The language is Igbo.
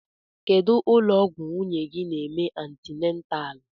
Kedụ ụlọ ọgwụ nwunye gị n'eme antinatal?